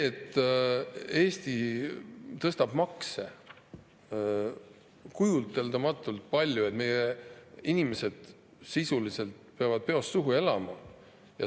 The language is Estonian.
Eesti tõstab makse kujuteldamatult palju, meie inimesed sisuliselt peavad peost suhu elama.